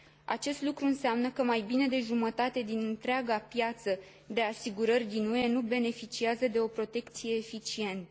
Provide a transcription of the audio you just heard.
Acest lucru înseamnă că mai bine de jumătate din întreaga piață de asigurări din UE nu beneficiază de o protecție eficientă.